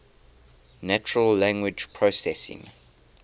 natural language processing